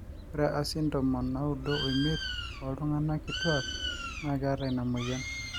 ore asin ntomon naudo oimiet oo ltunganak kituak naa keeta ina moyian